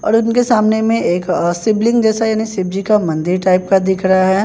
और उनके सामने में एक अह शिवलिंग जैसा यानी शिव जी का मंदिर टाइप का दिख रहा है।